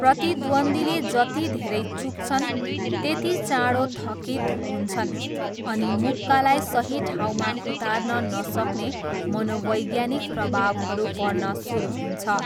प्रतिद्वन्द्वीले जति धेरै चुक्छन्, त्यति चाँडो थकित हुन्छन्, अनि मुक्कालाई सही ठाउँमा उतार्न नसक्ने मनोवैज्ञानिक प्रभावहरू पर्न सुरु हुन्छ।